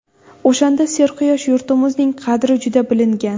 O‘shanda serquyosh yurtimizning qadri juda bilingan.